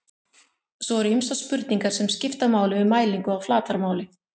svo eru ýmsar spurningar sem skipta máli við mælingu á flatarmáli